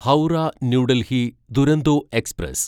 Howrah New Delhi Duronto express